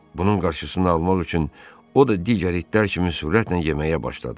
Bunun qarşısını almaq üçün o da digər itlər kimi sürətlə yeməyə başladı.